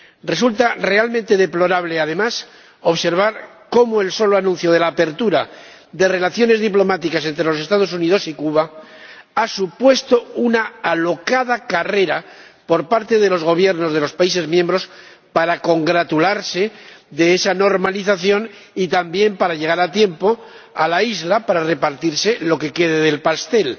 Resulta realmente deplorable, además, observar cómo el solo anuncio de la apertura de relaciones diplomáticas entre los Estados Unidos y Cuba ha supuesto una alocada carrera por parte de los Gobiernos de los Estados miembros para congratularse de esa normalización y también para llegar a tiempo a la isla para repartirse lo que quede del pastel.